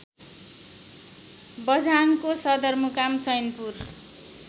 बझाङको सदरमुकाम चैनपुर